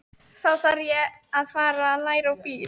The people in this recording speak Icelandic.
Þá þarf ég að fara að læra á bíl.